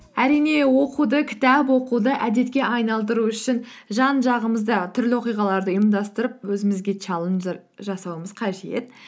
әрине оқуды кітап оқуды әдетке айналдыру үшін жан жағымызда түрлі оқиғаларды ұйымдастырып өзімізге челлендждер жасауымыз қажет